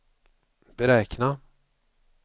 beräkna